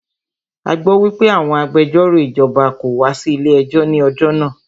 A gbọ́ wípé àwọn agbẹjọ́rò ìjọba kò wá sí ilé ẹjọ́ ní ọjọ́ náà.